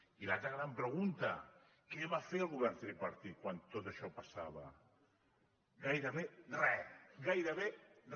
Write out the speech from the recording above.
i l’altra gran pregunta què va fer el govern tripartit quan tot això passava gairebé re gairebé re